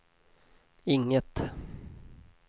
inget